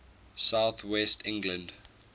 south west england